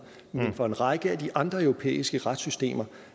men for en række af de andre europæiske retssystemer